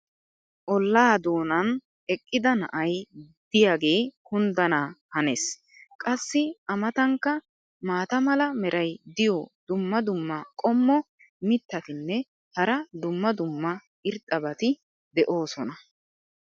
ollaa doonan eqqida na'ay diyaagee kunddana hanees. qassi a matankka maata mala meray diyo dumma dumma qommo mitattinne hara dumma dumma irxxabati de'oosona.